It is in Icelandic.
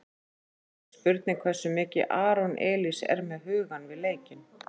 Svo er líka spurning hversu mikið Aron Elís er með hugann við leikinn?